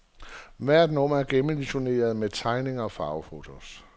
Hvert nummer er gennemillustret med tegninger og farvefotos.